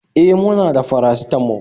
E, muna da paracetamol